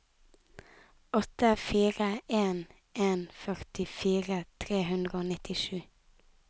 åtte fire en en førtifire tre hundre og nittisju